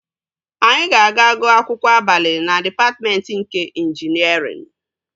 Anyị ga-aga gụọ akwụkwọ abalị na dịpatmentị nke ịnjinierịn